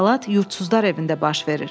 Əhvalat yurdsuzlar evində baş verir.